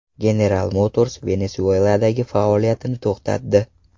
General Motors Venesueladagi faoliyatini to‘xtatdi.